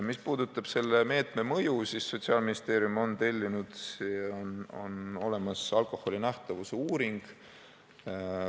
Mis puudutab selle meetme mõju, siis Sotsiaalministeerium on tellinud ja on olemas alkoholi nähtavuse uuring.